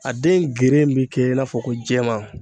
A den geren be kɛ i n'a fɔ ko jɛman